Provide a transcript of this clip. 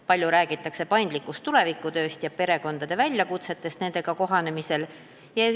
Palju räägitakse paindlikust tulevikutööst ja perekondade väljakutsetest nendega kohanemisel.